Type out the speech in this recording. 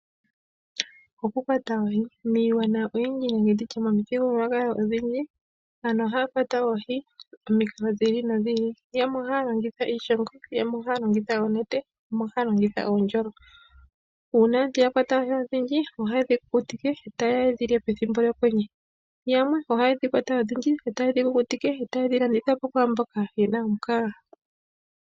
Okukwata oohi. Miigwana oyindji nenge tu tye momithigululwakalo odhindji aantu ohaa kwata oohi momikalo dhi ili nodhi ili. Yamwe ohaa longitha iishongo, yamwe ohaa longitha oonete, yamwe ohaa longitha uundjolo. Uuna aantu ya kwata oohi odhindji, ohaye dhi kukutike, taye ya ye dhi lye pethimbo lyokwenye. Yamwe ohaye kwata odhindji e taye dhi kukutike, e taye dhi landitha po kwaamboka ye na omukaga.